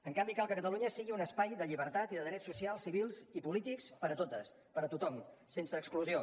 en canvi cal que catalunya sigui un espai de llibertat i de drets socials civils i polítics per a totes per a tothom sense exclusió